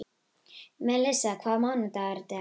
Melissa, hvaða mánaðardagur er í dag?